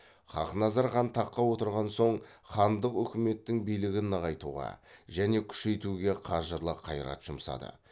хақназар хан таққа отырған соң хандық үкіметтің билігін нығайтуға және күшейтуге қажырлы қайрат жұмсады